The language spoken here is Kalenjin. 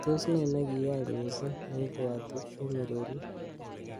Tos ne nekiyai missing neibwoti eng Ureriet?